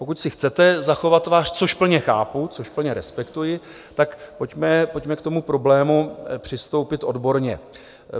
Pokud si chcete zachovat tvář, což plně chápu, což plně respektuji, tak pojďme k tomu problému přistoupit odborně.